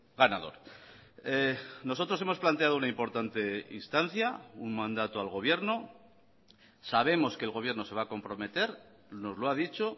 ganador nosotros hemos planteado una importante instancia un mandato al gobierno sabemos que el gobierno se va a comprometer nos lo ha dicho